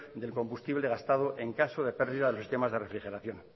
del combustible gastado en caso de pérdida de temas de refrigeración